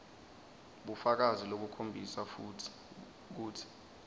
bufakazi lobukhombisa kutsi